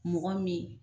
Mɔgɔ min